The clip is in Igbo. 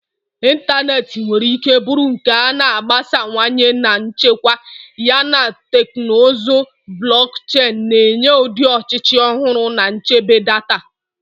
Ịntanetị nwere ike bụrụ nke a na-agbasawanye na nchekwa, yana teknụzụ blockchain na-enye ụdị ọchịchị ọhụrụ na nchebe data.